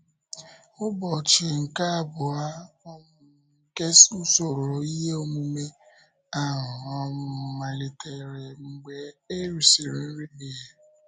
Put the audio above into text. Ụbọchị nke abụọ um nke usoro ihe omume ahụ um malitere mgbe e rísịrị nri ehihie.